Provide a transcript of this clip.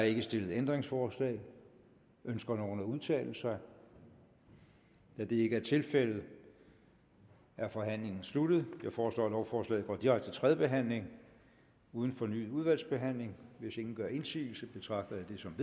ikke stillet ændringsforslag ønsker nogen at udtale sig da det ikke er tilfældet er forhandlingen sluttet jeg foreslår at lovforslaget går direkte til tredje behandling uden fornyet udvalgsbehandling hvis ingen gør indsigelse betragter jeg det som